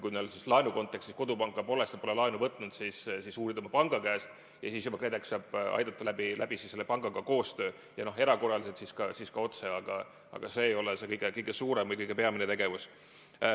Kui neil laenukontekstis kodupanka pole, sest nad pole laenu võtnud, tuleks uurida oma panga käest ja siis juba KredEx saab aidata koostöö kaudu selle pangaga, erakorraliselt ka otse, aga see ei ole kõige suurem või kõige peamisem tegevus.